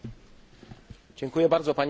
Dziękuję bardzo, Pani Przewodnicząca!